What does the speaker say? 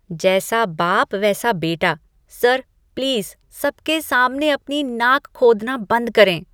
जैसा बाप, वैसा बेटा। सर, प्लीज़ सबके सामने अपनी नाक खोदना बंद करें।